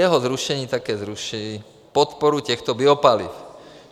Jeho zrušení také zruší podporu těchto biopaliv.